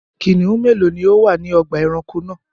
Kìnnìún mélòó ni ó wà ní ọgbà-ẹranko náà?